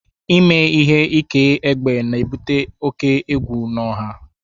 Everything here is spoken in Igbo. Ime ihe ike egbe na-ebute oke egwu ọha